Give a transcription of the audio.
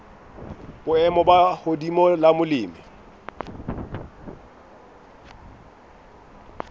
boemo bo hodimo la molemi